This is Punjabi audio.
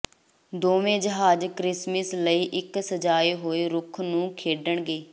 ਦੋਵੇਂ ਜਹਾਜ਼ ਕ੍ਰਿਸਮਿਸ ਲਈ ਇੱਕ ਸਜਾਏ ਹੋਏ ਰੁੱਖ ਨੂੰ ਖੇਡਣਗੇ